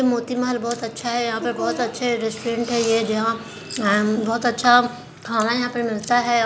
मोतीमहल बहोत अच्छा है यहा पर बहोत अच्छा रेस्टोरेंट है ये जहाँ अ म बहोत अच्छा खाना यहाँ पर मिलता हैं अ--